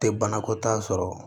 Tɛ banakɔtaa sɔrɔ